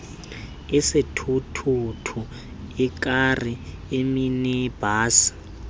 isithuthuthu ikari iminibhasi